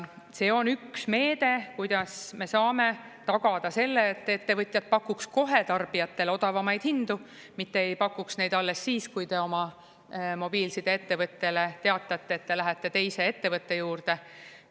See on üks meede, kuidas me saame tagada selle, et ettevõtjad pakuks kohe tarbijatele odavamaid hindu, mitte ei pakuks neid alles siis, kui te oma mobiilsideettevõttele teatate, et te lähete teise ettevõtte juurde.